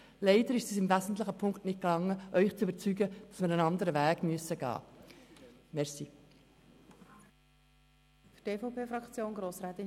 Leider ist es uns im wesentlichen Punkt nicht gelungen, Sie davon zu überzeugen, dass wir einen anderen Weg gehen müssen.